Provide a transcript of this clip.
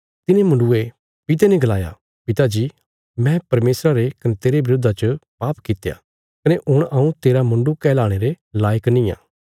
तिने मुण्डुये पिता ने गलाया पिता जी मैं परमेशरा रे कने तेरे बरोधा च पाप कित्या कने हुण हऊँ तेरा मुण्डु कहलाणे रे लायक निआं